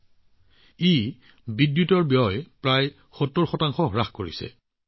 ইয়াৰ বাবে তেওঁলোকৰ বিদ্যুতৰ ব্যয় প্ৰায় ৭০ শতাংশ হ্ৰাস পাইছে